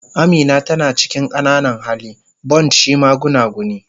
Amina tana cikin qananan hali, buymt shi ba gunaguni.